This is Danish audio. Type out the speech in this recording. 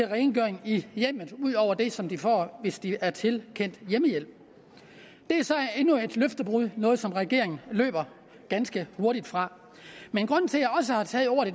rengøring i hjemmet ud over det som de får hvis de er tilkendt hjemmehjælp det er så endnu et løftebrud noget som regeringen løber ganske hurtigt fra men grunden til